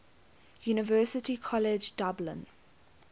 university college dublin